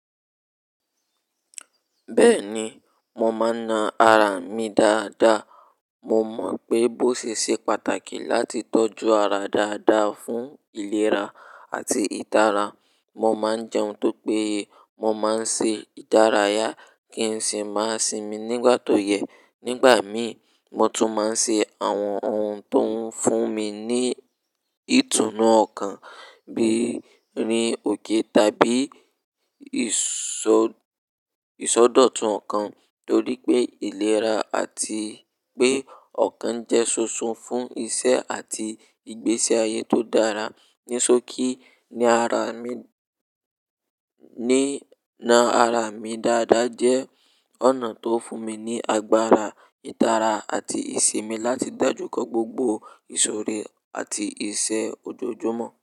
Bẹ́ẹ̀ni, mo máa ń naa ara mi dáadáa. Mo mọ̀ pé bó ṣese pàtàkì láti tọ́jú ara dáadáa fún ìlera àti ìtara. Mo máa ń jẹun tó péye, mo máa ń ṣe ìdárayá kí n sì máa sinmi nígbà tó yẹ. Nígbà mi, mo tún máa ń ṣe àwọn ohun tó ń fún mi ní ìtùnú ọkàn bíi rìn òkè tàbí ìsọ̀dọ̀tun ọkàn torí pé ìlera àti pé ọkàn jẹ́ ṣoṣo fún iṣẹ́ àti ìgbése ayé tó dára. Nísokí ni naa ara mi dáadáa jẹ́ ọ̀nà tó fún mi ní agbára, ìtara àti ìsinmi láti dojúkọ́ gbogbo ìsòrò àti iṣẹ́ ojoojúmọ́.